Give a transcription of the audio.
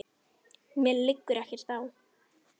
Mér liggur ekkert á.